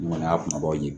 Ŋɔnya kumabaw ye